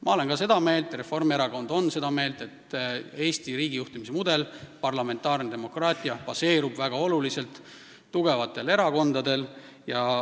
Ma olen seda meelt ja kogu Reformierakond on seda meelt, et Eesti riigijuhtimise mudel ehk parlamentaarne demokraatia baseerub tugevatel erakondadel.